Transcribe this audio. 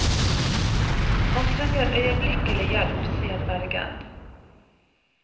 Han trenger øyeblikkelig hjelp, sier vergen.